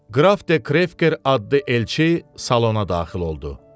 Qraf de Krefker adlı elçi salona daxil oldu.